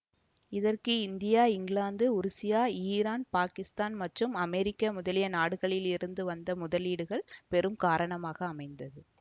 இதற்கு India England Russia Iran Pakistan மற்றும் America முதலிய நாடுகளில் இருந்து வந்த முதலீடுகள் பெரும் காரணமாக அமைந்தது